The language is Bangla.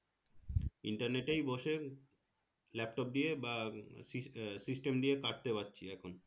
internet এই বসে laptop দিয়ে বা system system দিয়ে কাটতে পারছি এখন